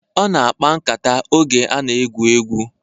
Ọ na-akpa nkata oge a na-egwu egwu